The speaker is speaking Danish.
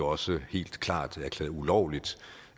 også helt klart erklæret ulovligt